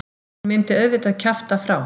Hún myndi auðvitað kjafta frá.